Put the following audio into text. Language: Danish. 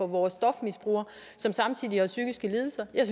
vores stofmisbrugere som samtidig har psykiske lidelser jeg